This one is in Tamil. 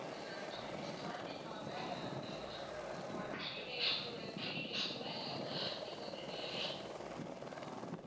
ஒரு birthday party க்காக தேவைப்படுது ma'am ஒரு three days க்குள்ள three days க்குள்ள நீங்க வந்து delivery பண்ற மாதிரி இருக்கும் ma'am